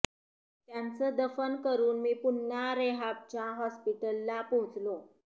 त्यांचं दफन करून मी पुन्हा रेहाबच्या हॉस्पिटलला पोहोचलो